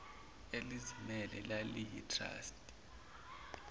elizimele laliyi trustee